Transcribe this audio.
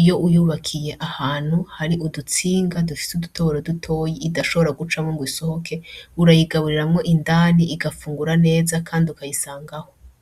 Iyo uyubakiye ahantu hari udutsinga dufise udutoboro dutoya idashobora gucamwo ngo isohoke urayigaburiramwo indani igafungura neza kandi ukayisangaho.